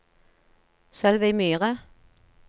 Sølvi Myhre